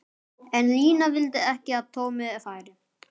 En Lína vildi ekki að Tommi færi.